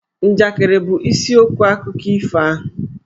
Njakịrị bụ isiokwu akụkọ ifo ahụ.